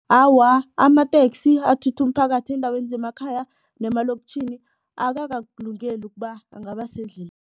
Awa, amateksi athutha umphakathi eendaweni zemakhaya nemalokitjhini akakakulungeli ukuba angaba